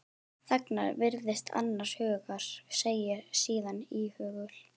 Þagnar, virðist annars hugar, segir síðan íhugul